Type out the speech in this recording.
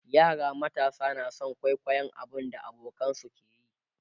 yara matasa na San kwaikwayon abun da abokanansu ke yi